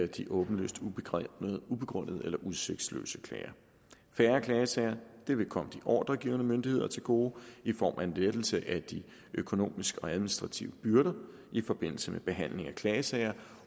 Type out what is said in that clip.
de åbenlyst ubegrundede eller udsigtsløse klager færre klagesager vil komme de ordregivende myndigheder til gode i form af en lettelse af de økonomiske og administrative byrder i forbindelse med behandlingen af klagesager